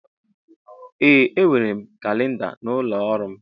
Ee enwere m kalinda n'ụlọ ọrụ m.